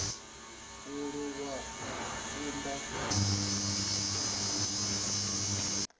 muhali u lwisa u kunda